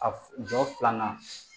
A jɔ filanan